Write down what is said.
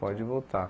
Pode voltar.